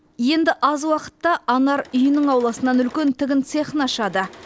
енді аз уақытта анар үйінің ауласынан үлкен тігін цехын ашады